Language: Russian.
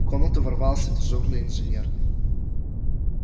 в комнату ворвался дежурный инженер